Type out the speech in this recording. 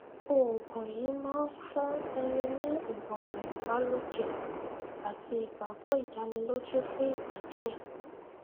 oògùn yìí máa ń fún ẹni ní ìmọràn ìbàlòkè àti igbagbọ ìdánilójú fún ìgbà díẹ